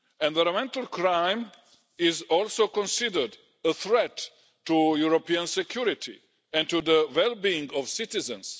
Environmental crime is also considered a threat to European security and to the well being of citizens.